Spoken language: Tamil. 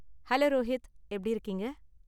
ஹலோ ரோஹித், எப்படி இருக்கீங்க?